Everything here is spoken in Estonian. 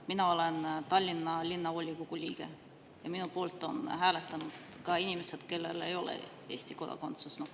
Mina olen Tallinna Linnavolikogu liige ja minu poolt on hääletanud ka inimesed, kellel ei ole Eesti kodakondsust.